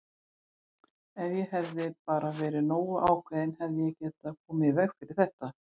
Ef ég hefði bara verið nógu ákveðinn hefði ég getað komið í veg fyrir þetta!